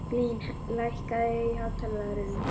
Blín, lækkaðu í hátalaranum.